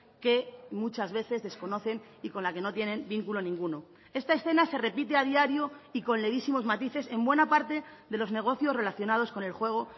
que muchas veces desconocen y con la que no tienen vínculo ninguno esta escena se repite a diario y con levísimos matices en buena parte de los negocios relacionados con el juego